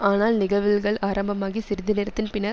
ஆனால் நிகவுழ்கள் ஆரம்பமாகி சிறிது நேரத்தின் பின்னர்